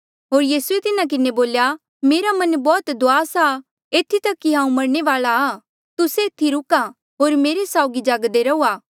होर यीसूए तिन्हा किन्हें बोल्या मेरा मन बौह्त दुआस आ एथी तक कि हांऊँ मरणे वाल्आ आ तुस्से एथी रूका होर मेरे साउगी जागदे रहूआ